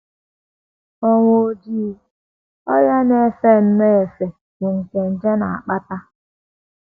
Ọnwụ Ojii: Ọrịa na - efe nnọọ efe bụ́ nke nje na - akpata.